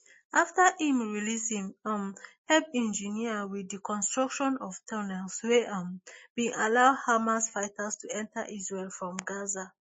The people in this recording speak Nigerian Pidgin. afta im release im um help engineer wit di construction of tunnels wey um bin allow hamas fighters to enta israel from gaza